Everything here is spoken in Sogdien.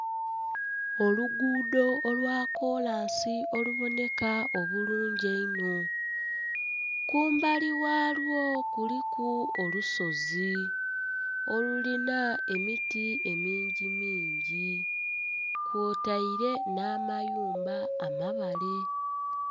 Oluguudo olwa kolansi oluboneka obulungi einho, kumbali ghalwo kuliku olusozi olulina emiti emingimingi kwotaire n'amayumba amabale.